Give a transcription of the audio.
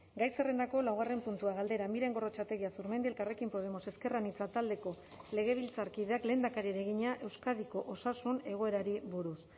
gai zerrendako laugarren puntua galdera miren gorrotxategi azurmendi elkarrekin podemos ezker anitza taldeko legebiltzarkideak lehendakariari egina euskadiko osasun egoerari buruz